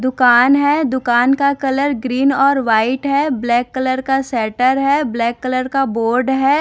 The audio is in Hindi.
दुकान है दुकान का कलर ग्रीन और व्हाइट है ब्लैक कलर का शटर है ब्लैक कलर का बोर्ड है।